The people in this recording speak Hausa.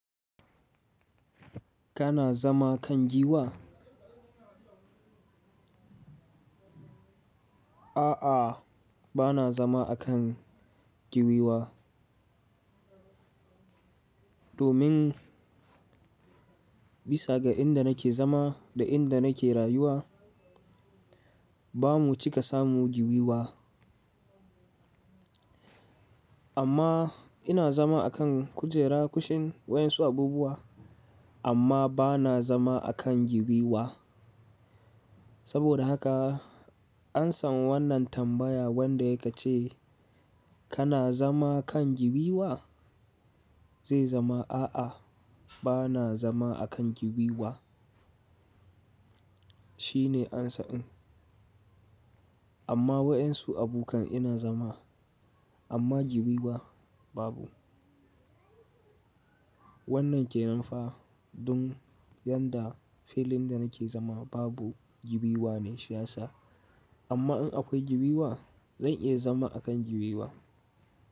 Kana zama kan giwa? A'a, ba na zama a kan giwiwa. Domin bisa ga inda nake zama da inda nake rayuwa, ba mu cika samu giwiwa. Amma ina zama a kan kujera, kushin, waɗansu abubuwa, amma ba na zama a kan giwiwa. Saboda haka an san wannan tambaya wanda ya ƙace, kana zama kan giwiwa? Zai zama, a'a, ba na zama a kan giwiwa. Shi ne amsa ɗin. Amma waɗansu abukan ina zama, amma giwiwa babu. Wannan ke nan fa don yadda filin da nake zama babu giwiwa ne shi ya sa. Amma in akwai giwiwa, zan iya zama a kan giwiwa.